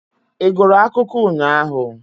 Ị gụrụ akụkọ ụnyahụ?